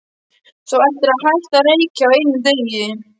Þú ættir að hætta að reykja á einum degi.